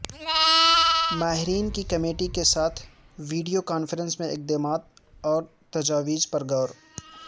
ماہرین کی کمیٹی کے ساتھ ویڈیو کانفرنس میں اقدامات اور تجاویزپرغور